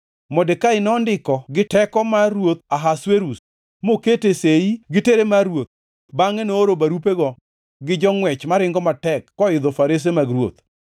Modekai nondiko gi teko mar ruoth Ahasuerus mokete sei gi tere mar ruoth bangʼe nooro barupego gi jongʼwech maringo matek koidho farese mag ruoth.